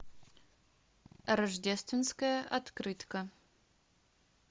рождественская открытка